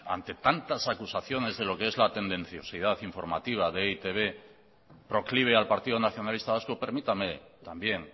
ante tantas acusaciones de lo que es la tendenciosidad informativa de e i te be proclive al partido nacionalista vasco permítame también